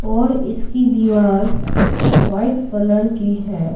और इसकी दीवार वाइट कलर की है।